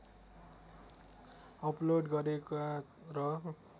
upload गरेका र